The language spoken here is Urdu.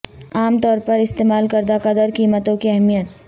عام طور پر استعمال کردہ قدر قیمتوں کی اہمیت